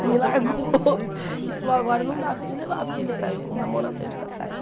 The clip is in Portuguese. Ele me largou e falou, agora não dá para eu te levar, porque ele saiu com uma mão na frente e outra atrás.